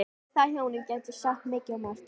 Um þau hjónin gæti ég sagt mikið og margt.